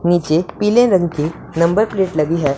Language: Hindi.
नीचे पीले रंग की नंबर प्लेट लगी है।